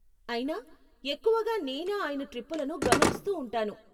అయినా , ఎక్కువుగా నేనే ఆయన ట్రిప్పులను గమనిస్తూ ఉంటాను..